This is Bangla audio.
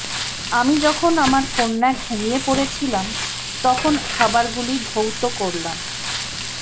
আমি যখন আমার কন্যা ঘুমিয়ে পড়েছিলাম তখন খাবারগুলি ধৌত করলাম